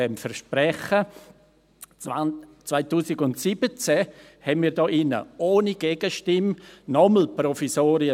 2017 bewilligten wir hier drin ohne Gegenstimme nochmals Provisorien.